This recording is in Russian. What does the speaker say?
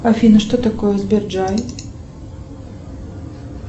афина что такое сберджай